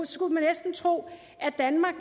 skulle man næsten tro at danmark